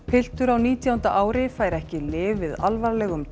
piltur á nítjánda ári fær ekki lyf við alvarlegum